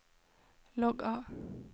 logg av